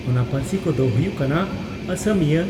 ᱚᱱᱟ ᱯᱟᱹᱨᱥᱤ ᱠᱚᱫᱚ ᱦᱩᱭᱩᱜ ᱠᱟᱱᱟ ᱺᱼ ᱚᱥᱚᱢᱤᱭᱟᱹ